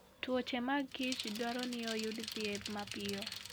Tuoche mag kich dwaro ni oyud thieth mapiyo.